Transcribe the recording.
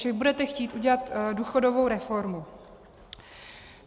Že budete chtít udělat důchodovou reformu.